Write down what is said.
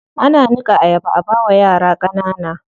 Ana niƙa ayaba a bawa yara ƙanana.